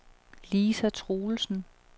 Lisa Truelsen